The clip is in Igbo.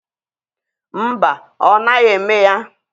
Mba, ọ naghị eme ya.